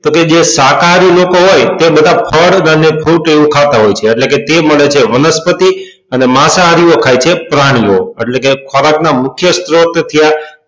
તો કે જે શાકાહારી લોકો હોય તે બધા ફળ અને fruit એવું ખાતા હોય છે એટલે કે તે બને છે વનસ્પતિ અને માંસાહારીઓ ખાય છે પ્રાણીઓ એટલે કે ખોરાક ના મુખ્ય સ્ત્રોત થયા